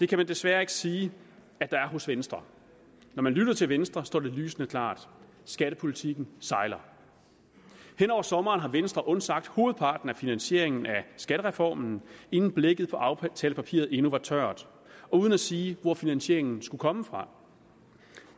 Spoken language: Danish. kan man desværre ikke sige at der er hos venstre når man lytter til venstre står det lysende klart skattepolitikken sejler hen over sommeren har venstre undsagt hovedparten af finansieringen af skattereformen inden blækket på aftalepapiret endnu var tørt og uden at sige hvor finansieringen skulle komme fra